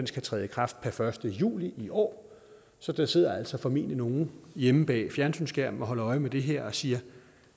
skal træde i kraft per første juli i år så der sidder altså formentlig nogle hjemme bag fjernsynsskærmen og holder øje med det her og siger